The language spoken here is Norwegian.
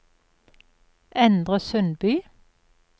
Endre Sundby